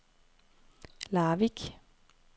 Larvik